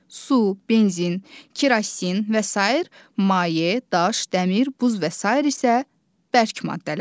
Su, benzin, kerosin və sair maye, daş, dəmir, buz və sair isə bərk maddələrdir.